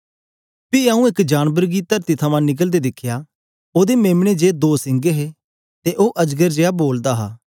पी आऊँ एक जानबर गी तरती थमां निकलदे दिखया ओदे मेम्ने जे दो सिंग हे ते ओ अजगर जेया बोलदा हा